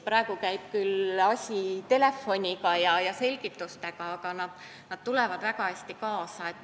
Praegu käib küll asi telefoni teel ja tuleb asju selgitada, aga nad tulevad väga hästi kaasa.